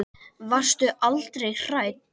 Varstu aldrei hrædd?